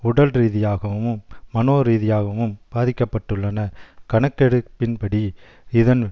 உடல்ரீதியாகவும் மனோரீதியாகவும் பாதிக்க பட்டுள்ளனர் கணக்கெடுப்பின்படி இதன்